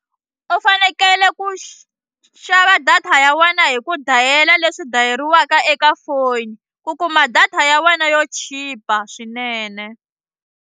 U fanekele ku xi xava data ya wena hi ku dayila leswi dayeriwaka eka foni u kuma data ya wena yo chipa swinene.